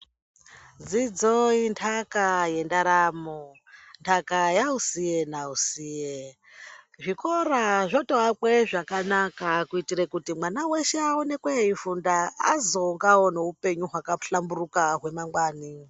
Dzidzo intaka yendaramo, ntaka yausiye nausiye. Zvikora zvotoakwe zvakanaka, kuyitira kuti mwana weshe awonekwe eyi funda azongawo neupenyu hwakahlamburuka hwemangwani.